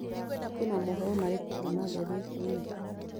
kwĩna mohoro marĩkũ kũũma gathetiini